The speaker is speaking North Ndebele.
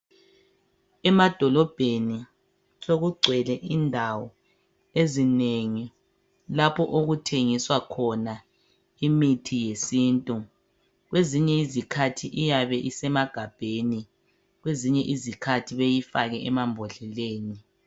Emadolobheni sokugcwele indawo ezinengi lapho okuthengiswa khona imithi yesintu kwezinye izikhathi iyabe isemagabheni kwezinye izikhathi beyifake emambodleleni.